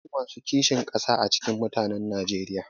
Akwai masu kishin ƙasa a cikin mutanen najeriya